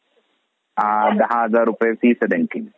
दहा हजार रुपये फीस आहे त्यांची.